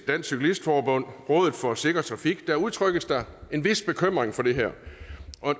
dansk cyklist forbund og rådet for sikker trafik udtrykkes der en vis bekymring for det her